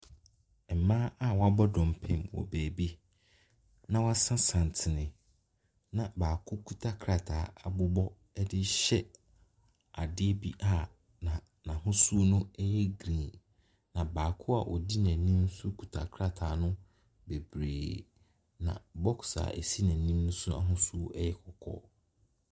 Mmaa a wɔabɔ dɔmpem wɔ baabi. Na wɔase santene. Na baako kuta krataa de rehyɛ adeɛ bi a n'ahosuo yɛ green. Na baako a odi n'anim nso kita krataa no bebree. Na boɔ a esi n'anim no ahosuo no yɛ kɔkɔɔ.